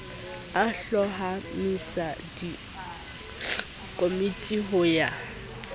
a hlomamisa dikomiti ho ya